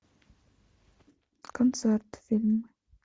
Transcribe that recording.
концерт фильмы